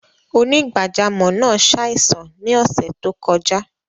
Onígbàjàmọ́ naa ṣáìsàn ni ọṣẹ́ tó kọja.